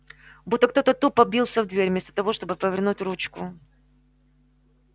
будто кто-то тупо бился в дверь вместо того чтобы повернуть ручку